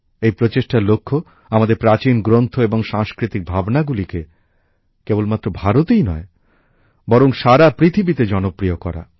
এই প্রচেষ্টার লক্ষ্য আমাদের প্রাচীন গ্রন্থ এবং সাংস্কৃতিক ভাবনাগুলিকে কেবলমাত্র ভারতেই নয় বরং সারা পৃথিবীতে জনপ্রিয় করা